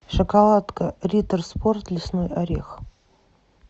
шоколадка риттер спорт лесной орех